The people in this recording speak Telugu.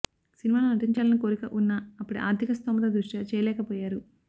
సినిమాల్లో నటించాలని కోరిక ఉన్నా అప్పటి ఆర్థిక స్తోమత దృష్ట్యా చేయలేక పోయారు